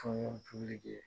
ye.